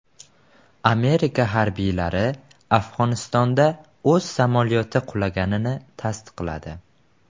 Amerika harbiylari Afg‘onistonda o‘z samolyoti qulaganini tasdiqladi.